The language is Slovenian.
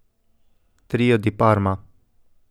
Trio di Parma.